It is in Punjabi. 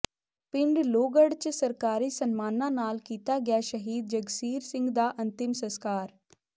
ਪਿੰਡ ਲੋਹਗੜ੍ਹ ਚ ਸਰਕਾਰੀ ਸਨਮਾਨਾਂ ਨਾਲ ਕੀਤਾ ਗਿਆ ਸ਼ਹੀਦ ਜਗਸੀਰ ਸਿੰਘ ਦਾ ਅੰਤਿਮ ਸਸਕਾਰ